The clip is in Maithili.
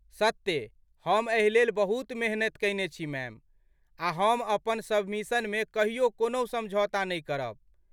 सत्ते हम एहिलेल बहुत मेहनति कयने छी मैम, आ हम अपन सबमिशनमे कहियो कोनहु समझौता नहि करब।